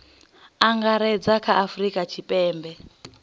angaredza kha a afurika tshipembe